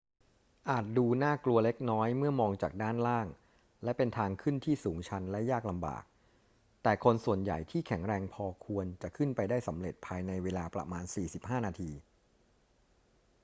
อาจดูน่ากลัวเล็กน้อยเมื่อมองจากด้านล่างและเป็นทางขึ้นที่สูงชันและยากลำบาก แต่คนส่วนใหญ่ที่แข็งแรงพอควรจะขึ้นไปได้สำเร็จภายในเวลาประมาณ 45 นาที